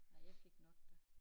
Nej jeg fik nok da